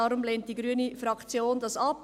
Deshalb lehnt die grüne Fraktion dies ab.